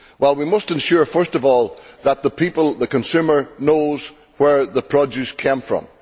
We must ensure first of all that people the consumers know where the produce came from.